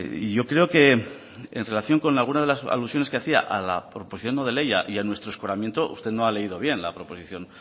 y yo creo que en relación con alguna de las alusiones que hacía a la proposición no de ley y a nuestro escoramiento usted no ha leído bien la proposición